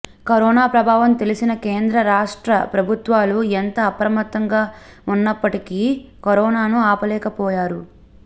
corona ప్రభావం తెలిసిన కేంద్ర రాష్ట్ర ప్రభుత్వాలు ఎంత అప్రమత్తంగా ఉన్నప్పటికీ కరోనాను ఆపలేకపోయారు